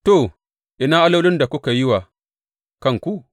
To ina allolin da kuka yi wa kanku?